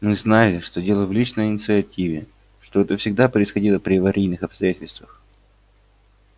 мы знали что дело в личной инициативе что это всегда происходило при аварийных обстоятельствах